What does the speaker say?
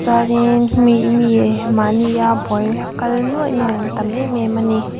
mahnia buai kal nuaih nuaih an tam em em a ni.